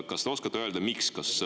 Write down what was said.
Kas te oskate öelda, miks?